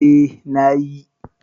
Eh na yi.